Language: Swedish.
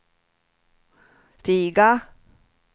stiga